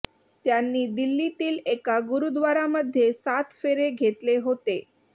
त्यांनी दिल्लीतील एका गुरूद्वारामध्ये सात फेरे घेतले होते